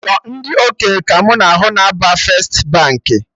Sọ ndị okenye ka mụ na ahụ na-aba first Baankị